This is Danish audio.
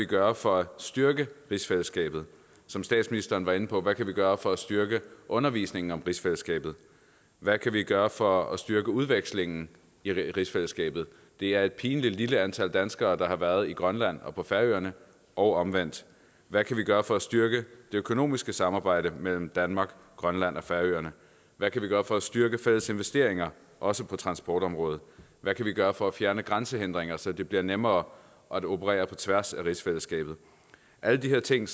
gøre for at styrke rigsfællesskabet som statsministeren var inde på hvad kan vi gøre for at styrke undervisningen om rigsfællesskabet hvad kan vi gøre for at styrke udvekslingen i rigsfællesskabet det er et pinligt lille antal danskere der har været i grønland og på færøerne og omvendt hvad kan vi gøre for at styrke det økonomiske samarbejde mellem danmark grønland og færøerne hvad kan vi gøre for at styrke fælles investeringer også på transportområdet hvad kan vi gøre for at fjerne grænsehindringer så det bliver nemmere at operere på tværs af rigsfællesskabet alle de her ting